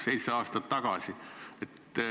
" Seitse aastat tagasi.